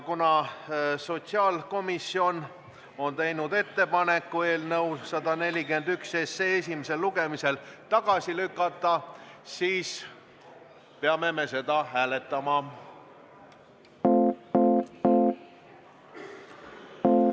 Kuna sotsiaalkomisjon on teinud ettepaneku eelnõu 141 SE esimesel tagasi lükata, siis peame me seda hääletama.